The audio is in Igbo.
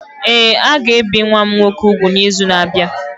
Ee, a ga-ebi nwa m nwoke úgwù n’izu na-abịa.